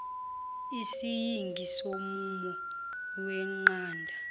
isiyingi somumo weqanda